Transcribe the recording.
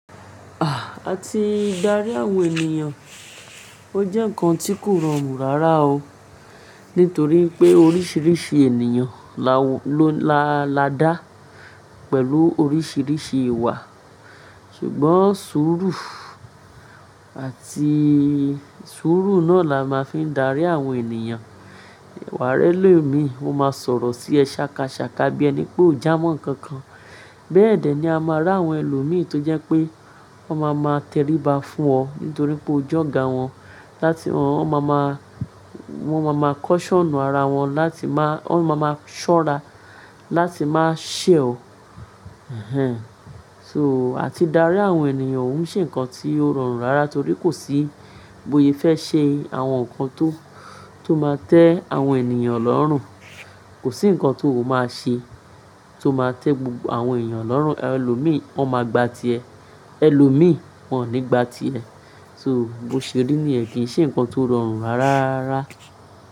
Ah! Á ti dárí àwọn ènìyàn, ó jẹ́ ǹkan tí kò rọrùn rárá o. Nítorí pé oríṣiríṣi ènìyàn la-la dá pẹ̀lú oríṣiríṣi ìwà, ṣùgbọ́n sùúrù àti sùúrù náà la máa fi ń darí àwọn ènìyàn. Wa ri ẹ lomi, ó máa sọ̀rọ̀ sí ẹ sákasàká bí ẹni pé ó jámọ̀ ǹkankan. Bẹ́ẹ̀dẹ̀ ni a máa rí àwọn ẹlòmíì tó jẹ́ pé.wọ́n ma máa tẹríba fún ọ nítorí pé o jọ̀ga wọn láti wọ́n ma máa, wọ́n ma máa caution ara wọn láti máa, wọ́n ma máa ṣọ́ra láti máa ṣe ọ. Ehn ehn. So, àti darí àwọn ènìyàn, ó ń ṣe ǹkan tí ó rọrùn rárá torí kò sí bóyé fẹ́ ṣe àwọn nǹkan tó, tó máa tẹ àwọn ènìyàn lọ́rùn. Kò sí nǹkan tó máa ṣe tó máa tẹ gbogbo àwọn ènìyàn lọ́rùn. Ẹlòmíì wọ́n máa gba ti ẹ, ẹ lòmíì wọ́n ò ní gba ti ẹ. To, bó ṣe rí níyẹn kí ṣe ǹkan tó rọrùn rárá.